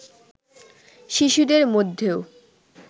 শিশুদের মধ্যেও